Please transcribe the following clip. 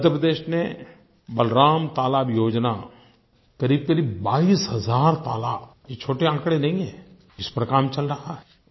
मध्य प्रदेश ने बलराम तालाब योजना क़रीबक़रीब 22 हज़ार तालाब ये छोटे आँकड़े नही हैं इस पर काम चल रहा है